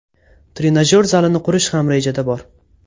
Trenajyor zalini qurish ham rejada bor.